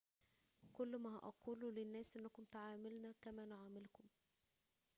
كل ما أقوله للناس أنكم تعاملنا كما نعاملكم